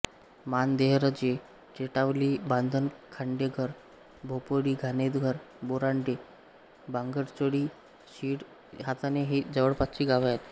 माण देहरजे टेटावली बांधण खांडेघर भोपोळीघाणेघर बोरांडे बांगरचोळे शिळ हाताणे ही जवळपासची गावे आहेत